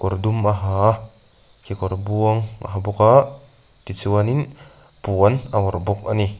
kawr dum a ha a kekawr buang a ha bawk a tichuan in puan a awrh bawk a ni.